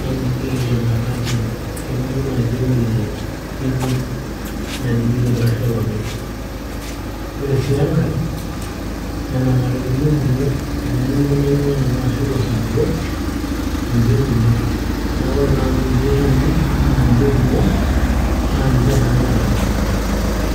najing'ieki ematatu tenijo naaji aing'orie tikit najing'ieki engarri olopeny ore sii enkay nena matatuni inkumok temurua naing'ua nanu ashu tosupuko ninche nkumok neeku ore naa amu ninche etumi naa ninche nkumok naa ninche naa anyorr atijing'a.